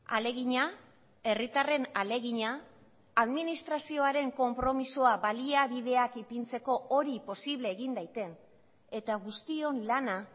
ahalegina herritarren ahalegina administrazioaren konpromisoa baliabideak ipintzeko hori posible egin daiten eta guztion lana